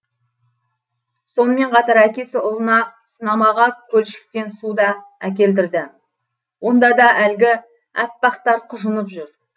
сонымен қатар әкесі ұлына сынамаға көлшіктен су да әкелдірді онда да әлгі әппақтар құжынып жүр